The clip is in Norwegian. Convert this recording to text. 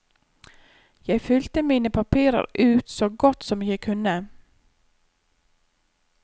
Jeg fylte mine papirer ut så godt som jeg kunne.